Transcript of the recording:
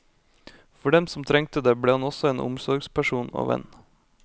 For dem som trengte det, ble han også en omsorgsperson og venn.